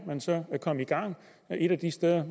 man så er kommet i gang et af de steder